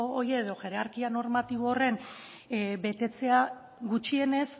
hori edo hierarkia normatibo horren betetzea gutxienez